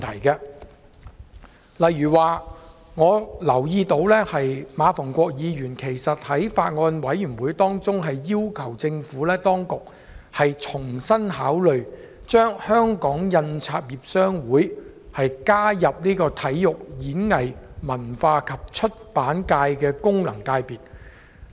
舉例來說，我留意到馬逢國議員在《2019年選舉法例條例草案》委員會上也曾要求政府當局重新考慮，將香港印刷業商會加入體育、演藝、文化及出版界的功能界別。